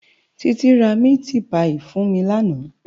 Titi rá miti páyi fún mi làná